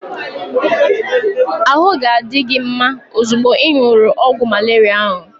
Ahụ ga-adi gị mma ozugbo ị ṅụrụ ọgwụ malaria ahu